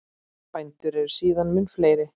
Bændur eru síðan mun fleiri.